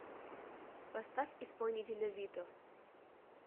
поставь исполнителя вито